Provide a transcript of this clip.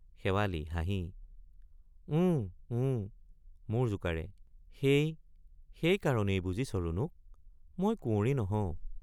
শেৱালি— হাঁহি ওঁ ওঁ মূৰ জোকাৰে সেই—সেই কাৰণেই বুজিছ ৰুণুক মই কুঁৱৰী নহও।